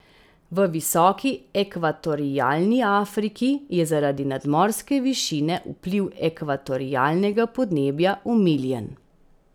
V Visoki ekvatorialni Afriki je zaradi nadmorske višine vpliv ekvatorialnega podnebja omiljen.